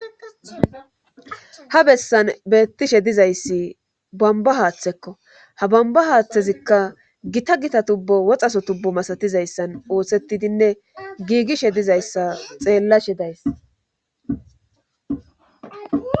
ha bessan beettishe dizayssi bamba haaththekko ha bamba haaththezikka gita gita tubbo woxaso tubbo masatizayssan oothsetidinne giigishe dizayssa xeellashe days